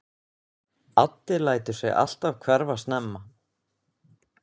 Addi lætur sig alltaf hverfa snemma.